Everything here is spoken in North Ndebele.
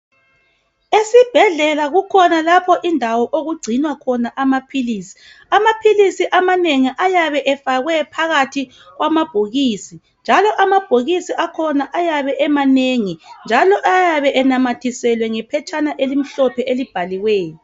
Esibhedlela kukhona lapho indawo okugcinwa khona amaphilisi , amaphilisi amanengi ayabe efakwe phakathi kwamabhokisi njalo amabhokisi akhona ayabe emanengi njalo ayabe enamathiselwe ngephatshana elimhlophe elibhaliweyo